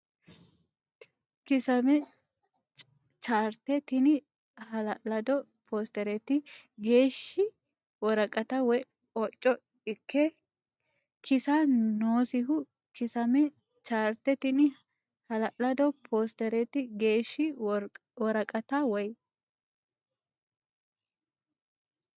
Kiisaame Chaarte Tini hala lado poosterete geeshshi woraqata woy hocco ikke kiissa noosiho Kiisaame Chaarte Tini hala lado poosterete geeshshi woraqata woy.